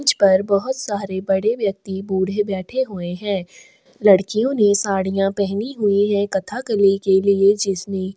मुझ पर बहुत सारे बड़े व्यक्ति बूढ़े बैठा हुए है लड़कियों ने साड़िया पहनी हुई है कथा कलर की लिए जिसमे--